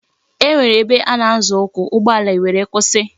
E nwere ebe ana Azo ukwu, ugbo ala e were kwusi